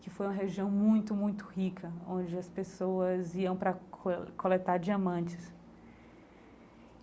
que foi uma região muito, muito rica, onde as pessoas iam para col coletar diamantes.